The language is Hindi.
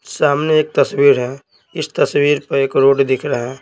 सामने एक तस्वीर है इस तस्वीर पर एक रोड दिख रहा है।